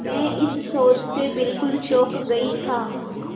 मैं इस शोध से बिल्कुल चौंक गई था